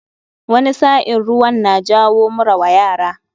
Wani sa'in ruwan na jawo mura wa yara.